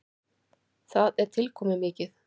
Það er tilkomumikið.